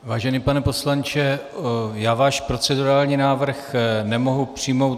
Vážený pane poslanče, já váš procedurální návrh nemohu přijmout.